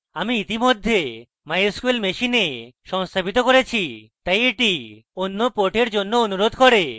আমি ইতিমধ্যে mysql machine সংস্থাপিত করেছি তাই এটি অন্য port জন্য অনুরোধ করে